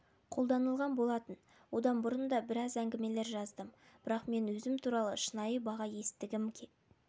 қолданылған болатын одан бұрын да біраз әңгімелер жаздым бірақ мен өзім туралы шынайы баға естігім